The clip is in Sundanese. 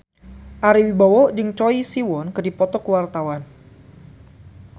Ari Wibowo jeung Choi Siwon keur dipoto ku wartawan